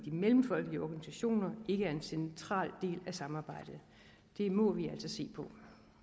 mellemfolkelige organisationer ikke er en central del af samarbejdet det må vi altså se på